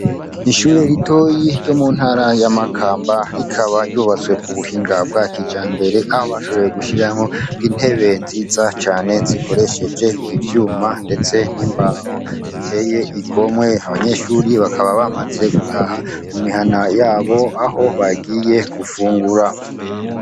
Ishure ritoyi ryo mu ntara ya makamba rikaba ryubatswe ku buhinga bwa kijambere aho bashoboye gushiraho intebe nziza cane zikoresheje ivyuma ndetse n'imbaho ziteye igomwe. Abanyeshuri bakaba bamaze gutaha mu mihana yabo aho bagiye gufungura.